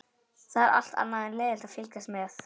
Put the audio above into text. Það er allt annað en leiðinlegt að fylgjast með við